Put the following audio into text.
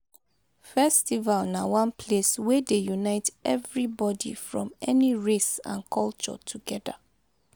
festival na one place wey dey unite evribodi from any race and culture togeda